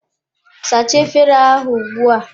Sachaa efere ahụ ugbua!